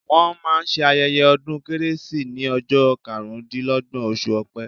Wọ́n máa ṣe ayẹ́yẹ́ ọdún kérésì ní ọjọ́ karùn dí lọ́gbọ̀n, oṣù Ọpẹ.